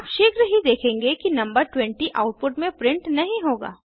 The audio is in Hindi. आप शीघ्र ही देखेंगे कि नंबर 20 आउटपुट में प्रिंट नहीं होगा